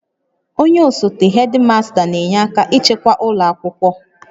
Onye osote hedimasta n'enye aka ịchịkwa ụlọ akwụkwọ